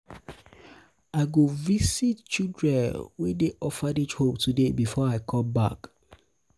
i go visit children wey dey orphanage home today before i come back.